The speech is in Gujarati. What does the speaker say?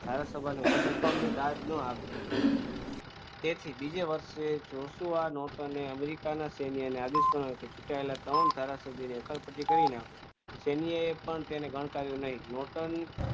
ધારાસભ્ય સભાનું હતું પણ અમને તેથી બીજે વર્ષે જોશું આનો તને અમેરિકાના સૈન્યને આદેશ આદેશ પણ હતી ચૂંટાયેલા ત્રણ ધારાસભ્ય અકલ સૈન્ય પણ તેને ગણકારી નહીં